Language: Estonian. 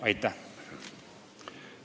Aitäh!